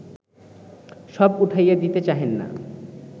সব উঠাইয়া দিতে চাহেন না